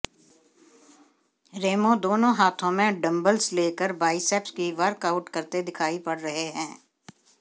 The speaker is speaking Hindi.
रेमो दोनों हाथों में डंबल्स लेकर बाइसेप्स की वर्कआउट करते दिखाई पड़ रहे हैं